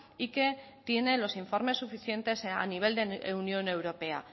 y que tiene los informes suficientes a nivel de unión europea